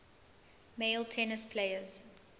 male tennis players